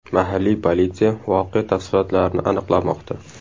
Mahalliy politsiya voqea tafsilotlarini aniqlamoqda.